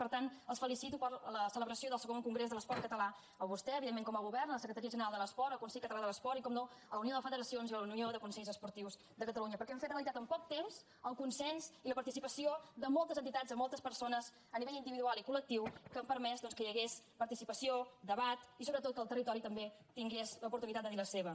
per tant els felicito per la celebració del ii congrés de l’esport català a vostè evidentment com a govern la secretaria general de l’esport el consell català de l’esport i per descomptat la unió de federacions i la unió de consells esportius de catalunya perquè han fet realitat en poc temps el consens i la participació de moltes entitats de moltes persones a nivell individual i col·lectiu que han permès doncs que hi hagués participació debat i sobretot que el territori també tingués l’oportunitat de dir hi la seva